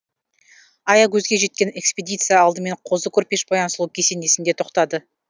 аягөзге жеткен экспедиция алдымен қозы көрпеш баян сұлу кесенесінде тоқтады